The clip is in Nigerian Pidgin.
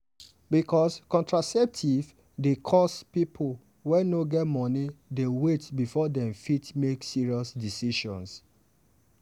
because contraceptive dey cost people wey no get money dey wait before dem fit make serious decision.